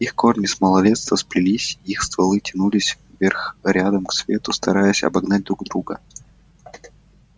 их корни с малолетства сплелись их стволы тянулись вверх рядом к свету стараясь обогнать друг друга